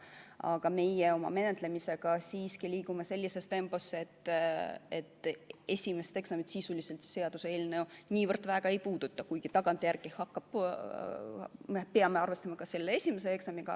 Aga meie oma menetlemisega siiski liigume sellises tempos, et esimest eksamit sisuliselt see seaduseelnõu väga ei puuduta, kuigi tagantjärele me peame arvestama ka selle esimese eksamiga.